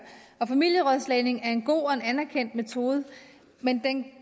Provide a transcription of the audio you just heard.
familierådslagning er en god og en anerkendt metode men den kan